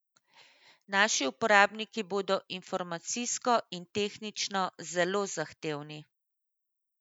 Naši uporabniki bodo informacijsko in tehnično zelo zahtevni.